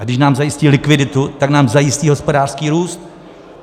A když nám zajistí likviditu, tak nám zajistí hospodářský růst.